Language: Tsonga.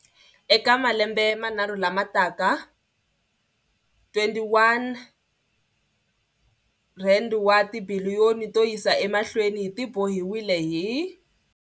Eka malembe manharhu lama taka R21 wa tibiliyoni to yisa emahlweni ti tibohiwile hi.